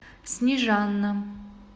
снежана